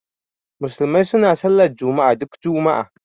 Musulmai suna sallar juma'a duk juma'a